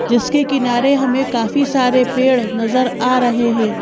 जिसके किनारे हमें काफी सारे पेड़ नजर आ रहे हैं।